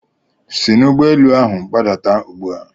Si n'ụgbọelu ahụ gbadata ugbu a!